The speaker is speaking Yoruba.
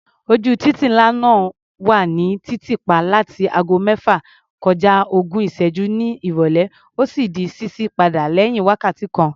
Ojú títì ńlá náà wà ní títì pa láti ago mẹ́fà kọja ogún ìṣẹ́gún ní ìrọ̀lẹ́, ó sì di ṣíṣí padà lẹ́yìn wákàtí kan.